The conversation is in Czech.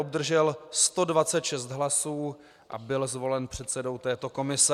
Obdržel 126 hlasů a byl zvolen předsedou této komise.